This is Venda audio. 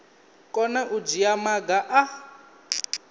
kona u dzhia maga a